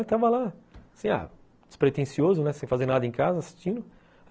Estava lá, assim, ah despretensioso, sem fazer nada em casa, assistindo.